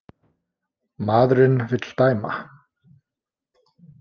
Maðurinn vill dæma.